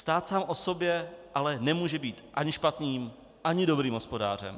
Stát sám o sobě ale nemůže být ani špatným ani dobrým hospodářem.